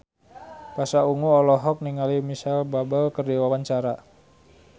Pasha Ungu olohok ningali Micheal Bubble keur diwawancara